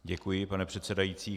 Děkuji, pane předsedající.